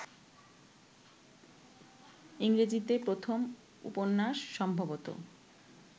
ইংরেজীতে প্রথম উপন্যাস সম্ভবত